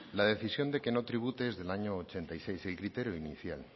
la decisión de que no tribute es del año mil novecientos ochenta y seis el criterio inicial